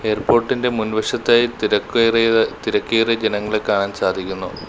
Airport ഇന്റെ മുൻവശത്തായി തിരക്കുകയറിയ തിരക്കേറിയ ജനങ്ങളെ കാണാൻ സാധിക്കുന്നു.